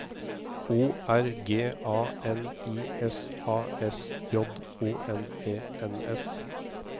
O R G A N I S A S J O N E N S